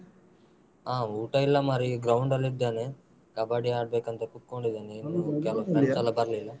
ಹಾ ಊಟ ಇಲ್ಲ ಮಾರಾಯ ಈಗ ground ನಲ್ಲಿ ಇದ್ದೇನೆ ಕಬ್ಬಡಿ ಆಡ್ಬೇಕಂತ ಕುತ್ಕೊಂಡಿದ್ದೇನೆ ಕೆಲವ್ friends ಎಲ್ಲ ಬರ್ಲಿಲ್ಲ.